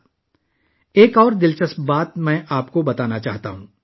میں آپ کو ایک اور دلچسپ بات بتانا چاہتا ہوں